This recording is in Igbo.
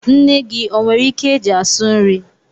Nne gị o nwere ikwe é jị asụ nri?